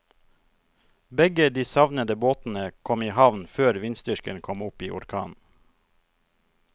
Begge de savnede båtene kom i havn før vindstyrken kom opp i orkan.